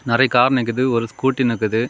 நெறைய கார் நிக்குது ஒரு ஸ்கூட்டி நிக்குது.